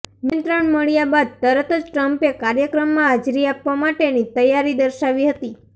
નિમંત્રણ મળ્યા બાદ તરત જ ટ્રમ્પે કાર્યક્રમમાં હાજરી આપવા માટેની તૈયારી દર્શાવી હતી